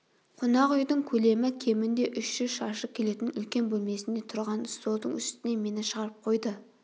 қонақ үйдің көлемі кемінде үш жүз шаршы келетін үлкен бөлмесінде тұрған столдың үстіне мені шығарып қойды